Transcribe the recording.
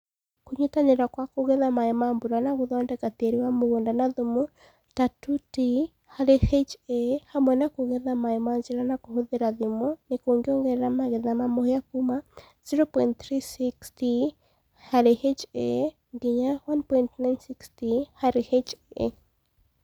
Kũnyitanĩra kwa kũgetha maaĩ ma mbura na gũthondeka tĩĩri wa mũgũnda na thumu ta 2t/ha hamwe na kũgetha maaĩ na njĩra ya kũhũthĩra thimo nĩ kũngĩongerera magetha ma mũhĩa kuuma 0.36t/ha nginya 1.96t/ha.